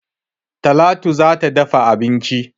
Talatu za ta dafa abinci